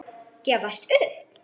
Gefast upp?